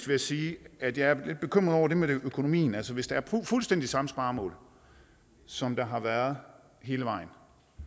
jeg sige at jeg er lidt bekymret over det med økonomien altså hvis der er fuldstændig samme sparemål som der har været hele vejen